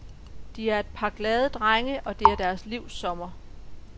De er et par, glade drenge, og det er deres livs sommer.